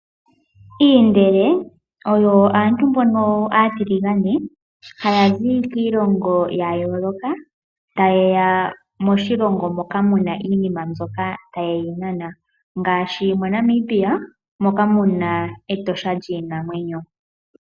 Iindele oyo aantu mbono aataligane haya zi kiilongo yayooloka taye ya moshilongo moka mu na iinima taye yi nana ngaashi moNamibia moka mu na Etosha National Park lyiinamwenyo.